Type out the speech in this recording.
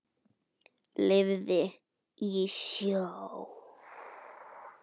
Lifði í sjó.